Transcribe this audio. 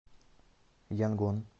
янгон